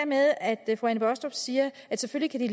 med at fru anne baastrup siger at selvfølgelig